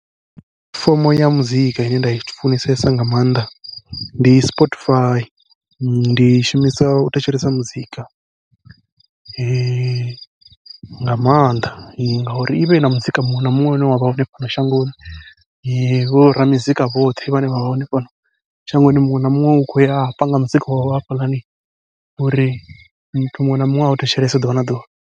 Fomo ya muzika ine nda i funesesa nga maanḓa ndi Spotify, ndi i shumisa u thetshelesa muzika nga maanḓa ngauri ivha ina muzika muṅwe na muṅwe une wavha hone fhano shangoni, vho ra muzika vhoṱhe vhane vha vha hone fhano shangoni muṅwe na muṅwe u khou ya a panga muzika wawe hafhaḽani uri muthu muṅwe na muṅwe au thetshelese ḓuvha na ḓuvha.